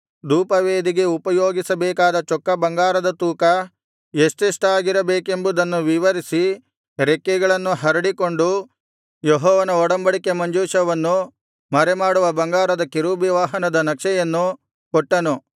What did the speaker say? ಧೂಪವೇದಿಗೆ ಉಪಯೋಗಿಸಬೇಕಾದ ಚೊಕ್ಕ ಬಂಗಾರದ ತೂಕ ಎಷ್ಟೆಷ್ಟಾಗಿರಬೇಕೆಂಬುದನ್ನು ವಿವರಿಸಿ ರೆಕ್ಕೆಗಳನ್ನು ಹರಡಿಕೊಂಡು ಯೆಹೋವನ ಒಡಂಬಡಿಕೆ ಮಂಜೂಷವನ್ನು ಮರೆಮಾಡುವ ಬಂಗಾರದ ಕೆರೂಬಿವಾಹನದ ನಕ್ಷೆಯನ್ನು ಕೊಟ್ಟನು